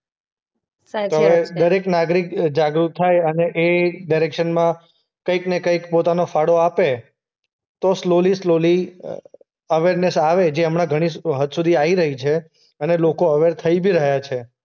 . તો હવે દરેક નાગરિક અ જાગૃત થાય અને એ ડિરેકશનમાં કંઈકને કંઈક પોતાનો ફાળો આપે. તો સ્લૉલી-સ્લૉલી અ અવેરનેસ આવે. જે હમણાં ઘણી હ હદ સુધી આવી રહી છે અને લોકો અવેર થઈ બી રહ્યા છે.